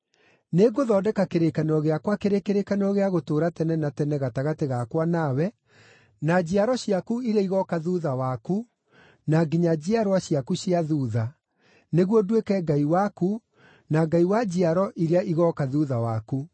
Nĩngũthondeka kĩrĩkanĩro gĩakwa kĩrĩ kĩrĩkanĩro gĩa gũtũũra tene na tene gatagatĩ gakwa nawe na njiaro ciaku iria igooka thuutha waku, na nginya njiarwa ciaku cia thuutha, nĩguo nduĩke Ngai waku na Ngai wa njiaro iria igooka thuutha waku.